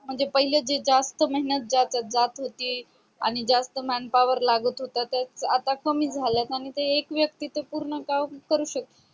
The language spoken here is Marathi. म्हणजे पहिले जे जास्त मेहनत जात जात होती आणि जास्त manpower लागत होत आता कमी जाले आणि ते एक व्यक्ती ते पूर्ण काम करू शकतो